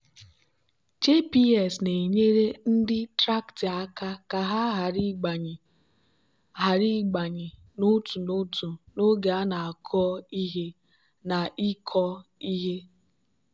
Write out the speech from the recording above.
gps na-enyere ndị traktị aka ka ha ghara ịgbanye ghara ịgbanye n'otu n'otu n'oge a na-akọ ihe na ịkọ ihe.